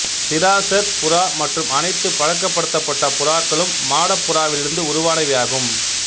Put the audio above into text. சிராசர் புறா மற்றும் அனைத்து பழக்கப்படுத்தப்பட்ட புறாக்களும் மாடப் புறாவிலிருந்து உருவானவையாகும்